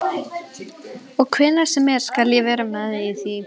Og hvenær sem er skal ég vera með í því.